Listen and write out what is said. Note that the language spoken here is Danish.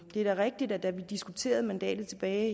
er da rigtigt at da vi diskuterede mandatet tilbage